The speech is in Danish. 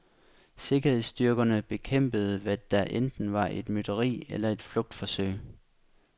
Sikkerhedsstyrkerne bekæmpede, hvad der enten var et mytteri eller et flugtforsøg.